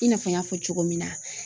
I n'a fɔ n y'a fɔ cogo min na